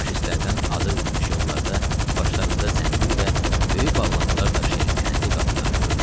Faşistlərdən azad edilmiş yollarda başlarında zəmbil və böyük bağlanmalar daşıyan kəndli qadınları göründü.